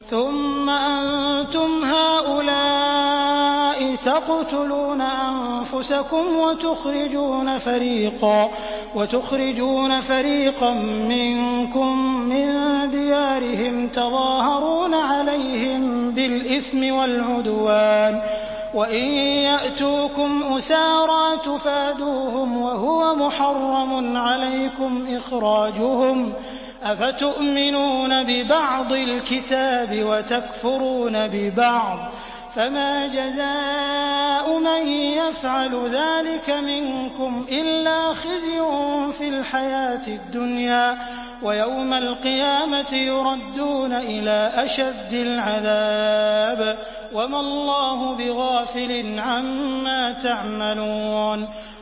ثُمَّ أَنتُمْ هَٰؤُلَاءِ تَقْتُلُونَ أَنفُسَكُمْ وَتُخْرِجُونَ فَرِيقًا مِّنكُم مِّن دِيَارِهِمْ تَظَاهَرُونَ عَلَيْهِم بِالْإِثْمِ وَالْعُدْوَانِ وَإِن يَأْتُوكُمْ أُسَارَىٰ تُفَادُوهُمْ وَهُوَ مُحَرَّمٌ عَلَيْكُمْ إِخْرَاجُهُمْ ۚ أَفَتُؤْمِنُونَ بِبَعْضِ الْكِتَابِ وَتَكْفُرُونَ بِبَعْضٍ ۚ فَمَا جَزَاءُ مَن يَفْعَلُ ذَٰلِكَ مِنكُمْ إِلَّا خِزْيٌ فِي الْحَيَاةِ الدُّنْيَا ۖ وَيَوْمَ الْقِيَامَةِ يُرَدُّونَ إِلَىٰ أَشَدِّ الْعَذَابِ ۗ وَمَا اللَّهُ بِغَافِلٍ عَمَّا تَعْمَلُونَ